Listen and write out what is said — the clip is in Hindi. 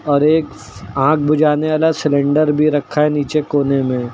और एक आग बुझाने वाला सिलेंडर भी रखा है नीचे कोने में।